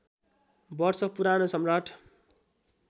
वर्ष पुरानो सम्राट